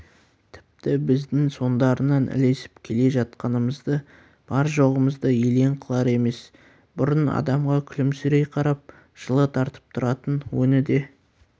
тіпті біздің соңдарынан ілесіп келе жатқанымызды бар-жоғымызды елең қылар емес бұрын адамға күлімсірей қарап жылы тартып тұратын өңі де